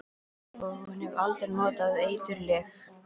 Og hún hafði aldrei notað eiturlyf.